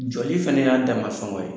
Joli fana y'a dama sɔngɔ ye